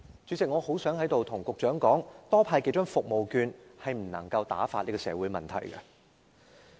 主席，我希望在此對局長說，多派數張服務券是不能打發這些社會問題的。